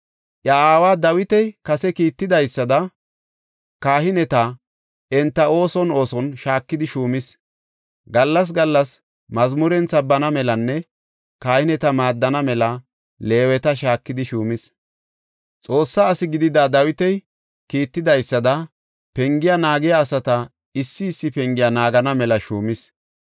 Iya aaway Dawiti kase kiittidaysada kahineta enta ooson ooson shaakidi shuumis; gallas gallas mazmuren sabbana melanne kahineta maaddana mela Leeweta shaakidi shuumis. Xoossa asi gidida Dawiti kiittidaysada penge naagiya asata issi issi pengiya naagana mela shuumis.